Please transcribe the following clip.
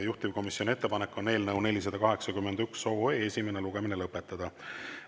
Juhtivkomisjoni ettepanek on eelnõu 481 esimene lugemine lõpetada.